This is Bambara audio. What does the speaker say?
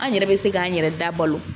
An yɛrɛ bɛ se k'an yɛrɛ da balo